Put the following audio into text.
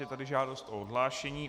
Je tady žádost o odhlášení.